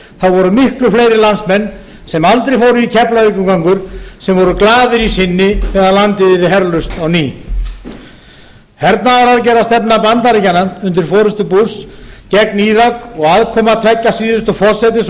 voru miklu fleiri landsmenn sem aldrei fóru í keflavíkurgöngur sem voru glaðir í sinni með að landið yrði herlaust á ný hernaðaraðgerðastefna bandaríkjanna undir forystu bush gegn írak og aðkoma tveggja síðustu forsætis